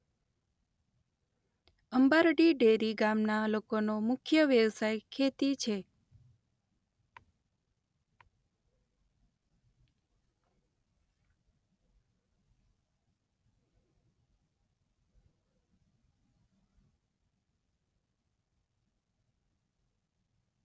Ambardi dairy ગામના લોકોનો મુખ્ય વ્યવસાય ખેતી છે.